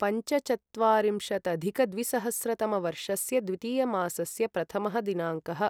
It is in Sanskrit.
पञ्चचत्वारिंशदधिकद्विसहस्रतमवर्षस्य द्वितीयमासस्य प्रथमः दिनाङ्कः